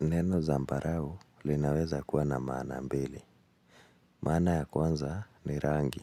Neno zambarau linaweza kuwa na maana mbili. Maana ya kwanza ni rangi.